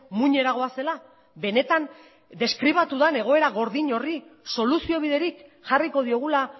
muinera goazela benetan deskribatu den egoera gordin horri soluzio biderik jarriko diogula